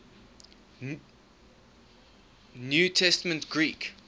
new testament greek